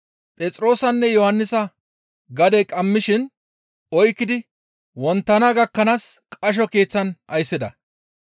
Phexroosanne Yohannisa gadey qammishin oykkidi wonttana gakkanaas qasho keeththan ayssida.